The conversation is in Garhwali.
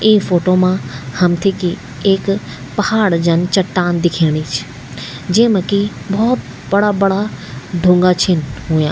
इ फोटु मा हमथे कि एक पहाड जन चट्टान दिखेणि च जेमा कि भौत बडा बडा ढुंगा छिन हुया।